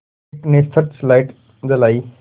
एक ने search light जलाई